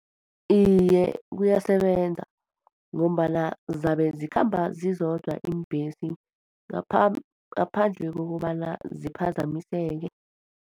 Iye, kuyasebenza ngombana zabe zikhamba zizodwa iimbhesi, ngaphandle kokobana ziphazamiseke.